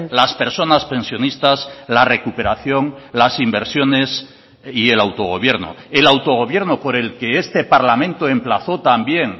las personas pensionistas la recuperación las inversiones y el autogobierno el autogobierno por el que este parlamento emplazó también